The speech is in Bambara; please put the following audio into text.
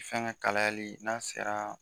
Fɛn ka kalayali n'a sera